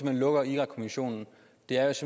man lukker irakkommissionen